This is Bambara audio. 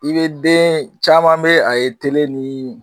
I bɛ den caman bɛ a ye tele ni